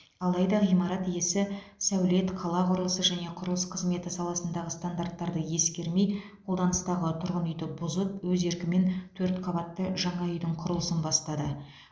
алайда ғимарат иесі сәулет қала құрылысы және құрылыс қызметі саласындағы стандарттарды ескермей қолданыстағы тұрғын үйді бұзып өз еркімен төрт қабатты жаңа үйдің құрылысын бастады